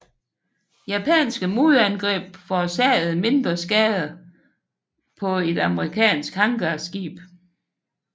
Japanske modangreb forårsagede mindre skader på et amerikansk hangarskib